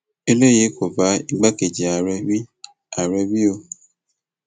eléyìí kò bá igbákejì ààrẹ wí ààrẹ wí o